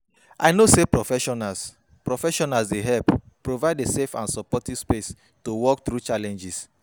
I know say professionals professionals dey help provide a safe and supportive space to work through challenges.